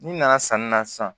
N'i nana sanni na sisan